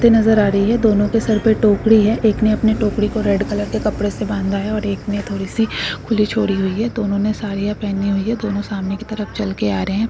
ते नजर आ रहे है। दोनों के सर पर टोकरी है। एक ने अपने टोकरी को रेड कलर के कपड़े से बांधा है। एक ने थोड़ी सी खुली छोड़ी हुई है। दोनों ने साड़िया पेहनी हुई है। दोनों सामने की तरफ चल के आ रहे है।